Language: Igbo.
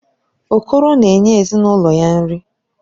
Okoro na-enye ezinụlọ ya nri.